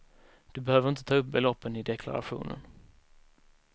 Du behöver inte ta upp beloppen i deklarationen.